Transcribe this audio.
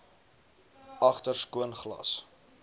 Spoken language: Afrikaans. agter skoon glas